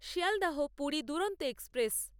Sealdah Puri Duronto express